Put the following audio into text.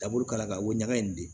Taa bolo kala ka woɲa in de